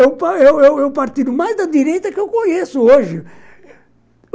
é é o o partido mais da direita que eu conheço hoje.